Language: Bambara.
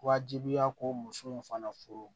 Wajibiya ko muso in fana furu